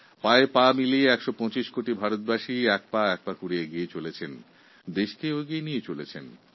১২৫ কোটি দেশবাসী একজোট হয়ে নিজেরা এগিয়ে চলেছেন ও দেশকেও এগিয়ে নিয়ে যাচ্ছেন